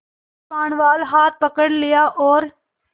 कृपाणवाला हाथ पकड़ लिया और